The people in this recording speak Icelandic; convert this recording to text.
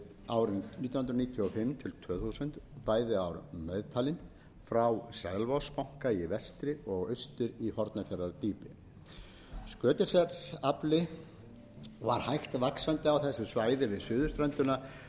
tvö þúsund bæði ár meðtalin frá selvogsbanka í vestri og austur í hornafjarðardýpi skötuselsafli var hægt vaxandi á þessu svæði við suðurströndina